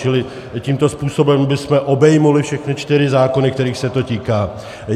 Čili tímto způsobem bychom obejmuli všechny čtyři zákony, kterých se to týká.